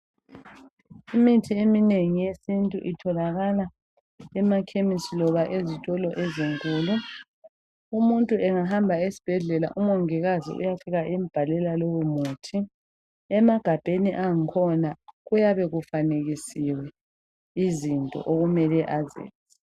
Imithi eminengi yesintu itholakala emakhemesi loba ezitolo ezinkulu umuntu angahamba esibhedlela umongikazi uyafika embalela lowo muthi emagabheni akhona kuyabe kufanekisiwe izinto okumele azenze.